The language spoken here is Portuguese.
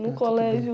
No colégio...